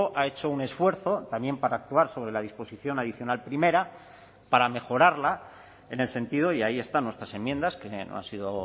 ha hecho un esfuerzo también para actuar sobre la disposición adicional primera para mejorarla en el sentido y ahí están nuestras enmiendas que no han sido